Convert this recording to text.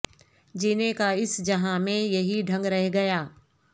جینے کا اس جہاں میں یہی ڈھنگ رہ گیا